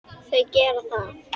Þau gerðu það.